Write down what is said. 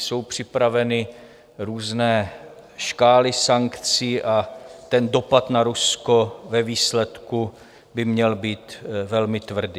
Jsou připraveny různé škály sankcí a ten dopad na Rusko ve výsledku by měl být velmi tvrdý.